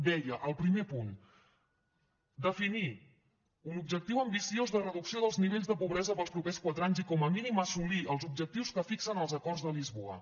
deia el primer punt definir un objectiu ambiciós de reducció dels nivells de pobresa per als propers quatre anys i com a mínim assolir els objectius que fixen els acords de lisboa